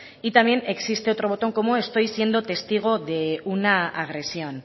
y también existe otro botón como estoy siendo testigo de una agresión